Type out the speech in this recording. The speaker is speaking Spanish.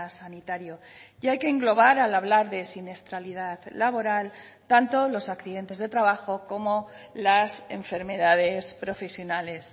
sanitario y hay que englobar al hablar de siniestralidad laboral tanto los accidentes de trabajo como las enfermedades profesionales